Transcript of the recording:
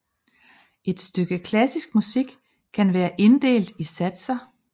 Et stykke klassisk musik kan være inddelt i satser